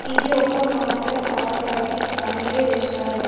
ఇది ఒక మాదల్ ఆల్ టర్కీ ఫ్యామిలీ రెస్టారంట్ .